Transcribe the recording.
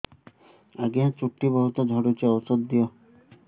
ଆଜ୍ଞା ଚୁଟି ବହୁତ୍ ଝଡୁଚି ଔଷଧ ଦିଅ